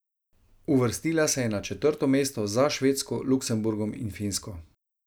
Uvrstila se je na četrto mesto, za Švedsko, Luksemburgom in Finsko.